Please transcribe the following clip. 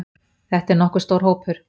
Þetta er nokkuð stór hópur.